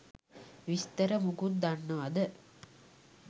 විස්තර මොකුත් දන්නවාද?